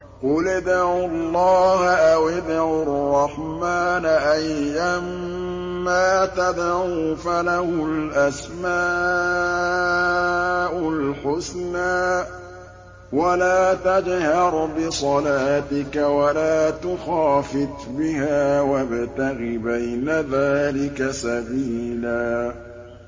قُلِ ادْعُوا اللَّهَ أَوِ ادْعُوا الرَّحْمَٰنَ ۖ أَيًّا مَّا تَدْعُوا فَلَهُ الْأَسْمَاءُ الْحُسْنَىٰ ۚ وَلَا تَجْهَرْ بِصَلَاتِكَ وَلَا تُخَافِتْ بِهَا وَابْتَغِ بَيْنَ ذَٰلِكَ سَبِيلًا